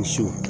So